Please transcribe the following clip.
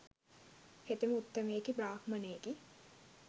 හෙතෙම උත්තමයෙකි බ්‍රාහ්මණයෙකි.